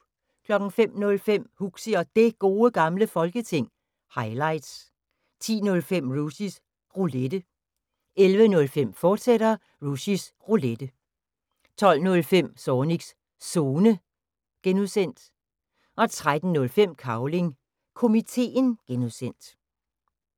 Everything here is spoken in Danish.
05:05: Huxi og Det Gode Gamle Folketing – highlights 10:05: Rushys Roulette 11:05: Rushys Roulette, fortsat 12:05: Zornigs Zone (G) 13:05: Cavling Komiteen (G)